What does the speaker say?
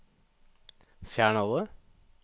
fjern alle